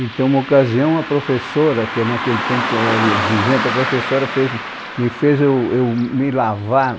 Então, uma ocasião, a professora, que naquele tempo era exigente, a professora fez, me fez eu eu, me lavar.